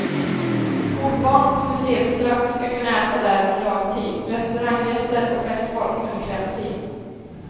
Skolbarn på museibesök skall kunna äta där under dagtid, restauranggäster och festfolk under kvällstid.